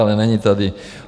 Ale není tady.